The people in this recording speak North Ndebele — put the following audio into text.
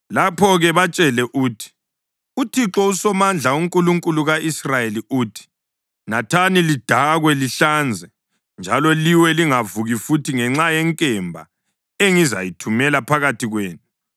“Lapho-ke batshele uthi, ‘ UThixo uSomandla, uNkulunkulu ka-Israyeli uthi: Nathani, lidakwe lihlanze, njalo liwe lingavuki futhi ngenxa yenkemba engizayithumela phakathi kwenu.’